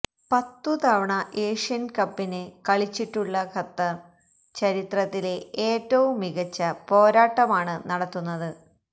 പത്തുതവണ ഏഷ്യന്കപ്പില് കളിച്ചിട്ടുള്ള ഖത്തര് ചരിത്രത്തിലെ ഏറ്റവും മികച്ച പോരാട്ടമാണ് നടത്തുന്നത്